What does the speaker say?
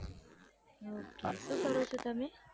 Ok શું કરો છો તમે.